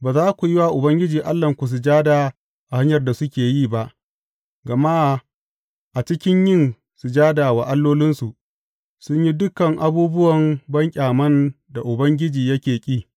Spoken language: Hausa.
Ba za ku yi wa Ubangiji Allahnku sujada a hanyar da suke yi ba, gama a cikin yin sujada wa allolinsu, sun yi dukan abubuwan banƙyaman da Ubangiji yake ƙi.